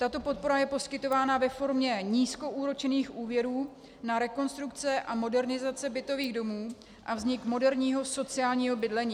Tato podpora je poskytována ve formě nízkoúročených úvěrů na rekonstrukce a modernizace bytových domů a vznik moderního sociálního bydlení.